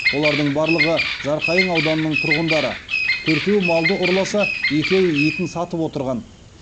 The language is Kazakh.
олардың барлығы жарқайың ауданының тұрғындары төртеуі малды ұрласа екеуі етін сатып отырған